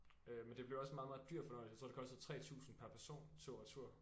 Øh men det blev også en meget meget dyr fornøjelse jeg tror det kostede 3000 per person tur retur